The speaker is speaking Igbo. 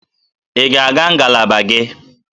Ị ga-aga ngalaba gị?